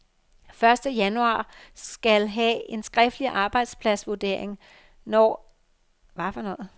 Første januar skal have en skriftlig arbejdspladsvurdering, når at blive færdige, siger hun.